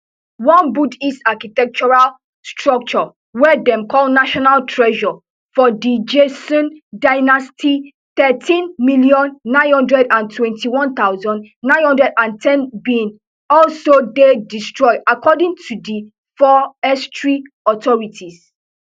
one buddhist architectural structure wey dem call national treasure from di joseon dynasty thirteen million, nine hundred and twenty-one thousand, nine hundred and ten bin also dey destroyed according to di forestry authorities